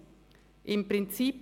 Ich sage: im Prinzip.